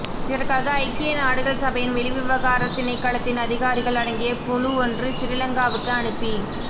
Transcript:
இதற்காக ஐக்கிய நாடுகள் சபையின் வெளிவிவகார திணைக்களத்தின் அதிகாரிகள் அடங்கிய குழு ஒன்று சிறிலங்காவுக்கு அனுப்பி